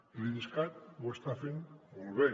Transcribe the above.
i l’idescat ho està fent molt bé